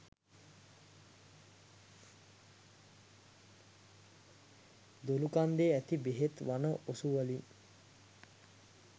දොළුකන්දේ ඇති බෙහෙත් වන ඔසුවලින්